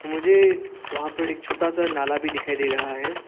मुझे वहां पर एक छोटा सा नाल भी दिखाई दे रहा है।